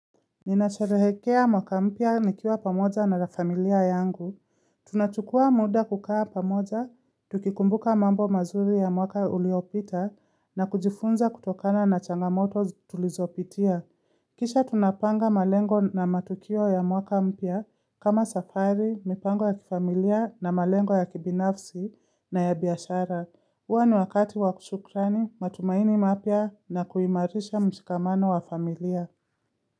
Ninasherehekea mwaka mpya nikiwa pamoja na la familia yangu. Tunachukua muda kukaa pamoja, tukikumbuka mambo mazuri ya mwaka uliopita na kujifunza kutokana na changamoto tulizopitia. Kisha tunapanga malengo na matukio ya mwaka mpya kama safari, mipango ya kifamilia na malengo ya kibinafsi na ya biashara. Huwa ni wakati wa kushukrani, matumaini mapya na kuimarisha mshikamano wa familia.